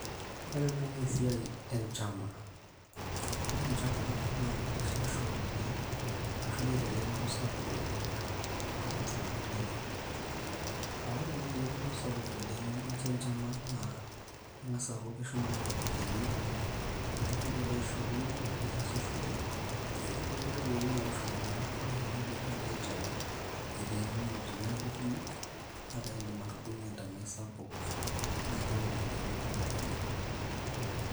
ore ena naa esiai enchama ore enchama naa kitishipisho oleng arashu eeta eretoto sapuk oleng toltung'anak lenyenak aa ore naaji eretoto sapuk oleng nikincho enchama naa keng'as aaku keshumaki iropiyiani nikintoki ake aisho loan niasishore ore kuna ropiyiani naatushuma naa ore kenya piilo aitau eteenunote neeku kumok nakaindim atudung'ie entanai sapuk nayieu iropiyiani kumok oleng.